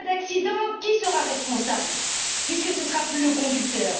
En cas d'accident, qui sera responsable, puisque ce ne sera plus le conducteur?